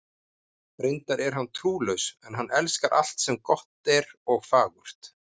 Reyndar er hann trúlaus, en hann elskar alt sem gott er og fagurt.